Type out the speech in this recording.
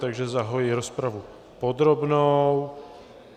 Takže zahajuji rozpravu podrobnou.